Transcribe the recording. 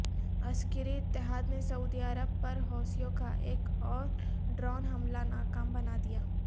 عسکری اتحاد نے سعودی عرب پر حوثیوں کا ایک اورڈرون حملہ ناکام بنا دیا